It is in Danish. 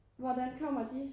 Hvordan kommer de?